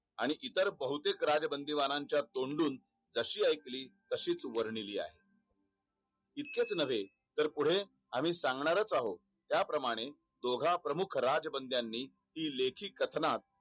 आणि इतर बहुतेक राजबंधूमानाच्या तोंडून जशी वर्णी आयकली तशीच वर्णी लिहा इतकंच नव्हे तर पुढे आम्ही सांगणार आहोत त्याप्रमाणे दोघं प्रमुख राजबंधूमानानी हि लेकाही कथनात